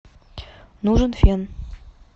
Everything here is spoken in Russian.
нужен фен